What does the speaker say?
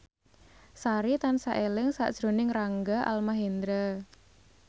Sari tansah eling sakjroning Rangga Almahendra